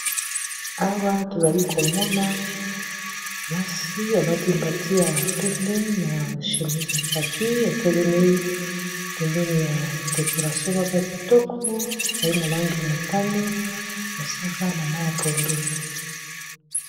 Awa tozali komona mwasi alati mbati ya pembe na chemise ya kaki a telemi pembeni ya decoration moko ya kitoko ezali na langi ya motani mosaka na mayi ya pondu.